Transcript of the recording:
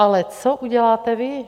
Ale co uděláte vy?